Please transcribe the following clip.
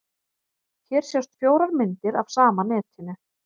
Hér sjást fjórar myndir af sama netinu.